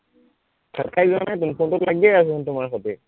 কাট খাই যোৱা নাই চোন ফোনটোত লাগিয়েই আছে চোন তোমাৰ সৈতে